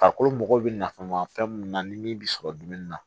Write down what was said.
Farikolo mago bɛ nafan ma fɛn mun na ni min bɛ sɔrɔ dumuni na